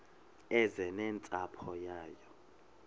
eze nentsapho yayo